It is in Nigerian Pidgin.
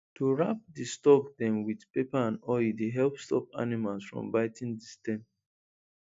to wrap the stalk dem with paper and oil dey help stop animals from biting the stem